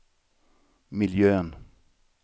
miljön